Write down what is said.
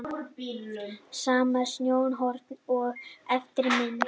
Sama sjónarhorn og á efri mynd.